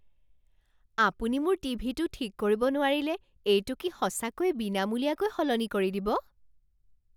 আপুনি মোৰ টিভিটো ঠিক কৰিব নোৱাৰিলে এইটো কি সঁচাকৈয়ে বিনামূলীয়াকৈ সলনি কৰি দিব?